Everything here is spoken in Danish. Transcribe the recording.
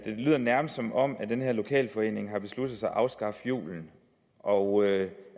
lyder nærmest som om den her lokalforening har besluttet sig for at afskaffe julen og